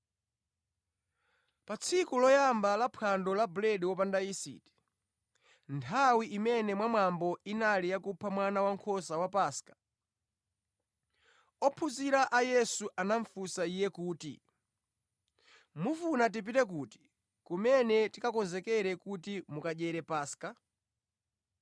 Pa tsiku loyamba la Phwando la Buledi wopanda yisiti, nthawi imene mwa mwambo inali ya kupha mwana wankhosa wa Paska, ophunzira a Yesu anafunsa Iye kuti, “Mufuna tipite kuti kumene tikakonzekere kuti mukadyere Paska?”